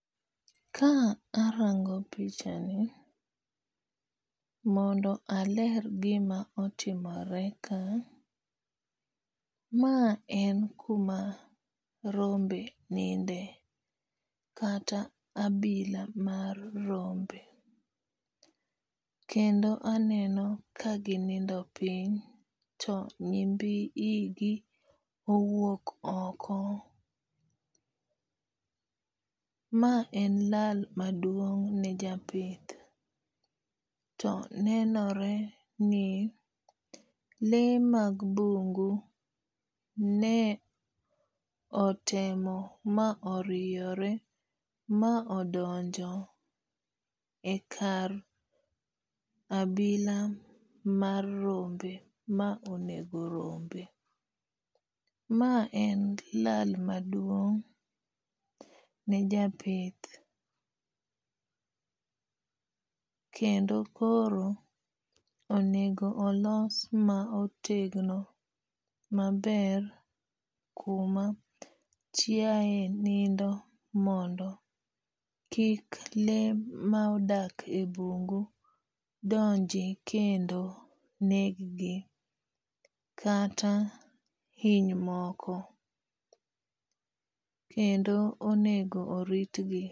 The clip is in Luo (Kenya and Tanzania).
Ka arango pichani, mondo aler gima otimore ka, ma en kuma rombe ninde, kata abila mar rombe, kendo aneno ka ginindo piny to nyimbi igi owuok oko, ma en lal maduong' ne japith to nenore ni lee mag bungu ne otemo ma oriyore ma odonjo e kar abila mar rombe ma onego rombe. Ma en lal maduong' ne japith, kendo koro onego olos ma otegno maber kuma chiaye nindo mondo kik lee ma odak e bungu donji kendo neggi kata hiny moko, kendo onego oritgi .